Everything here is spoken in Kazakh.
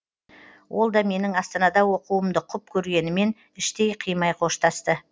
ол да менің астанада оқуымды құп көргенімен іштей қимай қоштасты